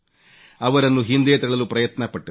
ಅವರನ್ನು ಹಿಂದೆ ತಳ್ಳಲು ಪ್ರಯತ್ನ ಪಟ್ಟರು